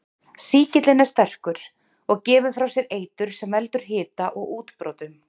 Sýkillinn er sterkur og gefur frá sér eitur sem veldur hita og útbrotum.